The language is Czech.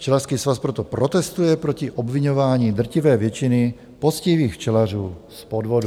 Včelařský svaz proto protestuje proti obviňování drtivé většiny poctivých včelařů z podvodu.